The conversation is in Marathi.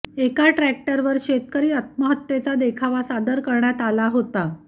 एका ट्रॅक्टरवर शेतकरी आत्महत्येचा देखावा सादर करण्यात आला होता